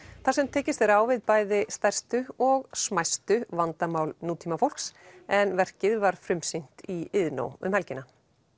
þar sem tekist er á við bæði stærstu og smæstu vandamál nútímafólks en verkið var frumsýnt í Iðnó um helgina